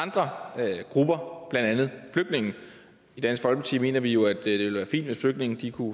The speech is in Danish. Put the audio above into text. andre grupper blandt andet flygtninge i dansk folkeparti mener vi jo at det vil være fint hvis flygtninge kunne